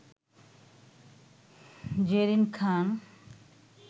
Zerin Khan